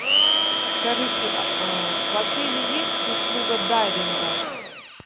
скажите в отеле есть услуга дайвинга